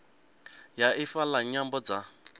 ya ifa la nyambo dza